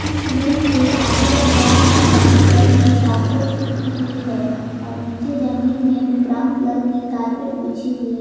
इस रूम के आधे दीवार में ब्राउन कलर की कारपेट चिपकी हुई है और नीचे जमीन में भी ब्राउन कलर की कारपेट बिछी हुई --